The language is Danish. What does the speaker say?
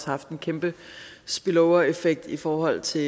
haft en kæmpe spillovereffekt i forhold til